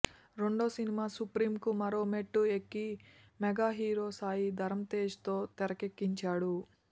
రెండో cinema Supreme కు మరో మెట్టు ఎక్కి మెగా హీరో సాయి ధరమ్ తేజ్ తో తెరకెక్కించాడు